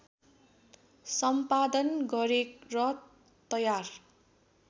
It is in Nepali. सम्पादन गरेर तयार